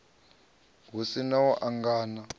hu si na u angana